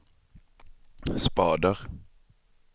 spader